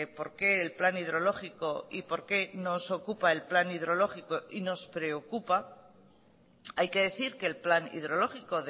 por qué el plan hidrológico y por qué nos ocupa el plan hidrológico y nos preocupa hay que decir que el plan hidrológico